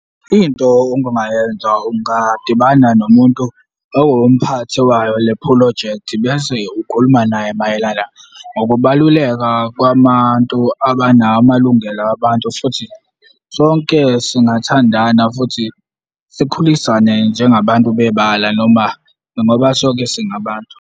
Into obungayenza ungadibana nomuntu owumphathi wayo le phrojekthi bese ukhuluma naye mayelana ngokubaluleka kwabantu abanawo amalungelo abantu futhi sonke singathandana, futhi sikhulisane njengabantu bebala noma ngoba sonke singabantu.